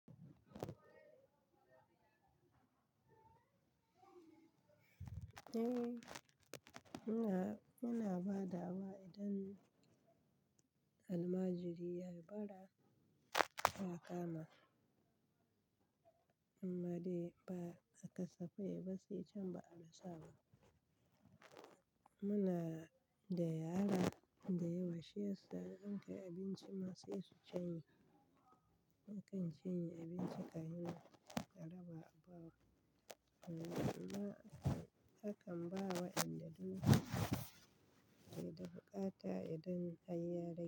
Eh, muna, muna ba da wa idan almajiri ya yi bara, ya kama. Amma dai ba a kasafai ba sai can ba'a rasa ba. Muna da yara da yawa shiya sa in kayi abinci ma sai su cinye. Akan cinye abinci ka yi ma raba a ba wa. Amma akan ba wa inda duk, duk wata idan an yi rai.